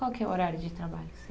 Qual que é o horário de trabalho seu?